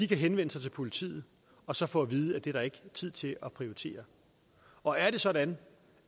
kan henvende sig til politiet og så få at vide at det er der ikke tid til at prioritere og er det sådan